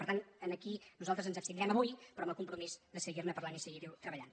i per tant aquí nosaltres ens abstindrem avui però amb el compromís de seguir·ne parlant i seguir·hi tre·ballant